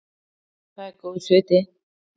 Það er góðs viti.